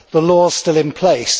The law is still in place.